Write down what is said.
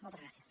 moltes gràcies